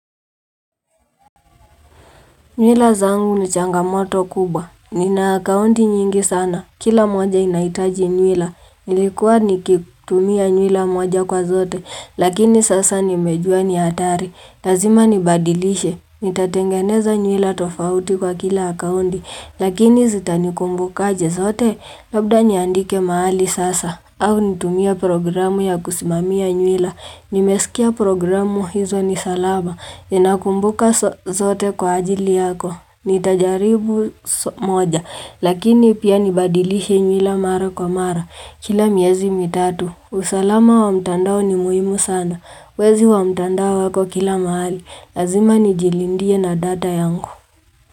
Nywila zangu ni changamoto kubwa. Nina akaunti nyingi sana. Kila moja inahitaji nywila. Nilikuwa nikitumia nywila moja kwa zote. Lakini sasa nimejua ni hatari. Lazima nibadilishe. Nitatengeneza nywila tofauti kwa kila akaunti. Lakini zitanikumbuka aje zote? Labda niandike mahali sasa. Au nitumie programu ya kusimamia nywila. Nimesikia programu hizo ni salama. Inakumbuka zote kwa ajili yako. Nitajaribu moja. Lakini pia nibadilishe nywila mara kwa mara. Kila miezi mitatu. Usalama wa mtandao ni muhimu sana. Wezi wa mtandao wako kila mahali. Lazima nijilindie na data yangu.